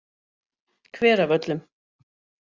Hveravöllum